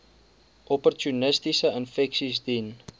opportunistiese infeksies diens